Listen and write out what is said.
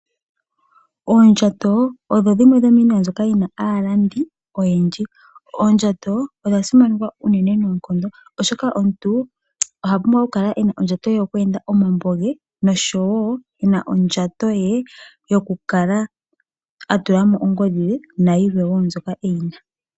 Oondjato odho dhimwe dhomiinima mbyoka yi na aalandi oyendji. Oondjato odha simanekwa uunene noonkondo, oshoka omuntu oha pumbwa oku kala ena ondjato ye yoku enda omambo ge, nosho woo ena ondjato ye yoku kala a tula mo ongodhi ye na yilwe woo mbyoka e yi na.